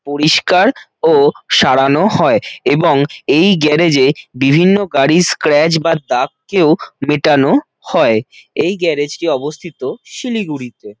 পরিস্কার ও সারানো হয় এবং এই গ্যারেজ বিভিন্ন গাড়ির স্ক্র্যাচ বা দাগকেও মেটানো হয় এই গ্যারেজ টি অবস্থিত শিলিগুড়িতে।